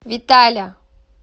виталя